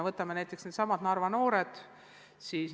Võtame näiteks needsamad Narva noored.